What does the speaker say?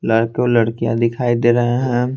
लड़के और लड़कियां दिखाई दे रहे हैं।